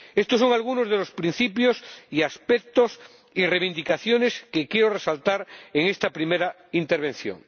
Estos son algunos de los principios y aspectos y reivindicaciones que quiero resaltar en esta primera intervención.